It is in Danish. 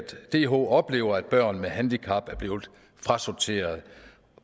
dh oplever at børn med handicap er blevet frasorteret